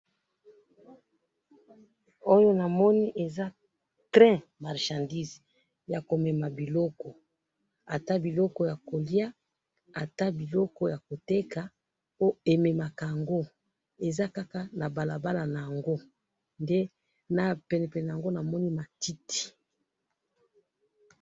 Oyo namoni eza train marchandise, yakomema biloko, ata biloko yakoliya, ata biloko yakoteka, oo ememaka yango, eza kaka na balabala naango, nde napenepene naango namoni matiti